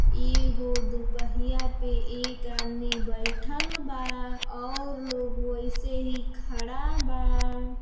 एगो दुपहिया पे एक आदमी बैठल बा और लोग वैसे ही खड़ा बा।